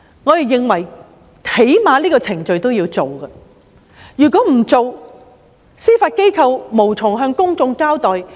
我們認為最低限度要有這個程序，否則，司法機構便無從向公眾交代。